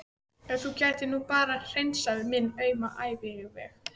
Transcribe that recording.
Ef þú gætir nú bara hreinsað minn auma æviveg.